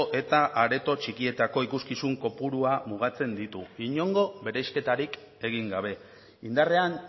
eta areto txikietako ikuskizun kopurua mugatzen ditu inongo bereizketarik egin gabe indarrean